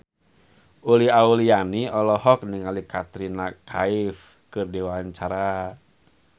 Uli Auliani olohok ningali Katrina Kaif keur diwawancara